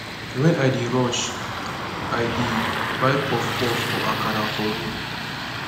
wen i dey rush i dey buy puff puff or akara for road